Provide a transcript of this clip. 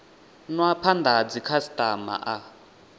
nwa phanda ha dzikhasitama a